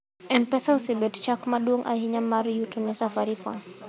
mpesa osebet chak maduong' ahinya mar yuto ne safarikom